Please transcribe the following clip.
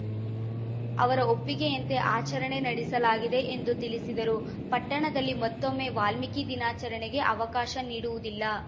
ಅವರ ಒಪ್ಪಿಗೆಯಂತೆ ಆಚರಣೆ ನಡೆಸಲಾಗಿದೆ ಎಂದು ತಿಳಿಸಿದರು ಪಟ್ಟಣದಲ್ಲಿ ಮತ್ತೊಮ್ಮೆ ವಾಲ್ಮೀಕಿ ದಿನಾಚರಣೆಗೆ ಅವಕಾಶ ನೀಡುವುದಿಲ್ಲ